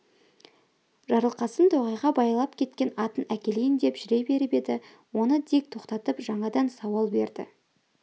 жарылқасын тоғайға байлап кеткен атын әкелейін деп жүре беріп еді оны дик тоқтатып жаңадан сауал берді